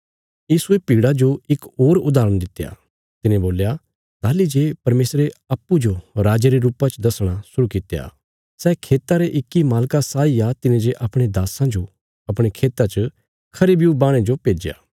यीशुये भीड़ा जो इक होर उदाहरण दित्या तिने बोल्या ताहली जे परमेशरे अप्पूँजो राजे रे रुपा च दसणा शुरु कित्या सै खेता रे इक्की मालका साई आ तिने जे अपणे दास्सां जो अपणे खेता च खरे ब्यू बाहणे जो भेज्या